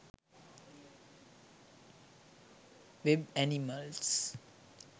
web animals